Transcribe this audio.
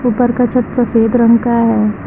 ऊपर का छत सफेद रंग का है।